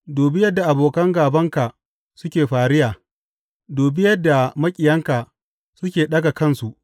Dubi yadda abokan gābanka suke fariya, dubi yadda maƙiyanka suke ɗaga kansu.